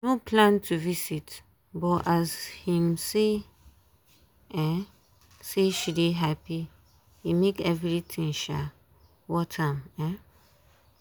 e no plan to visit but as him see um say she dey happy e make everything um worth am um